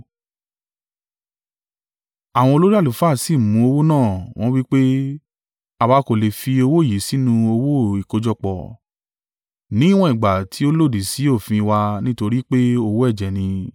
Àwọn olórí àlùfáà sì mú owó náà. Wọ́n wí pé, “Àwa kò lè fi owó yìí sínú owó ìkójọpọ̀. Ní ìwọ̀n ìgbà tí ó lòdì sí òfin wa nítorí pé owó ẹ̀jẹ̀ ni.”